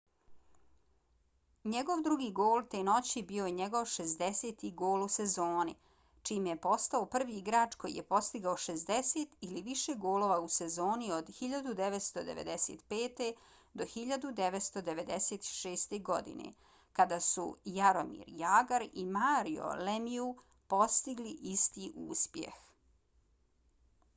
njegov drugi gol te noći bio je njegov 60. gol u sezoni čime je postao prvi igrač koji je postigao 60 ili više golova u sezoni od 1995. do 1996. godine kada su jaromir jagr i mario lemieux postigli isti uspjeh